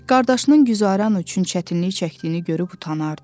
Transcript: Qardaşının güzəran üçün çətinlik çəkdiyini görüb utanardı.